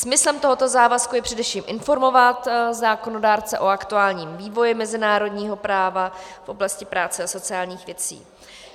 Smyslem tohoto závazku je především informovat zákonodárce o aktuálním vývoji mezinárodního práva v oblasti práce a sociálních věcí.